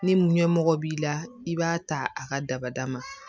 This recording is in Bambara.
Ni ɲɛmɔgɔ b'i la i b'a ta a ka dabada ma